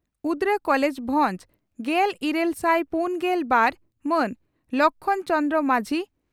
ᱩᱫᱽᱲᱟ college ᱵᱷᱚᱸᱡᱽ ᱾ᱜᱮᱞ ᱤᱨᱟᱹᱞ ᱥᱟᱭ ᱯᱩᱱᱜᱮᱞ ᱵᱟᱨ ᱹ ᱢᱟᱱ ᱞᱚᱠᱷᱢᱚᱬ ᱪᱚᱹ ᱢᱟᱹᱡᱷᱤ